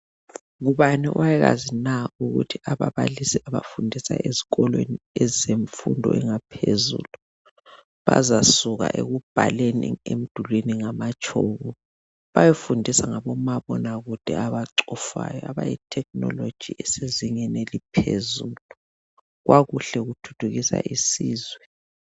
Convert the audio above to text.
Ngubani owayekwazi na ukuthi ababalisi abafundisa ezikolweni ezemfundo engaphezulu, bazasuka ekubhaleni emdulwini ngamatshoko bayefundiswa ngabomabonakude abacofayo abethekhinoloji esezingeni eliphezulu? Kwakuhle kuthuthukisa isizwe.